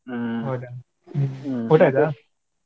ಊಟ ಆಯ್ತಾ?